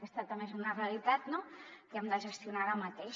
aquesta també és una realitat que hem de gestionar ara mateix